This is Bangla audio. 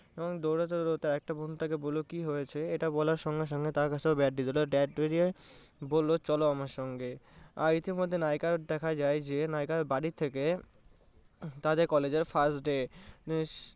দৌড়াতে দৌড়াতে একটা বন্ধু তাকে বোলো কি হয়েছে? এটা বলার সঙ্গে সঙ্গে ধরিয়ে বললো চলো আমার সঙ্গে। আর ইতিমধ্যে নায়িকাকে দেখা যায় যে নায়িকার বাড়ি থেকে তাদের college এর first day